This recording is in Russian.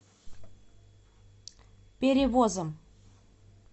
перевозом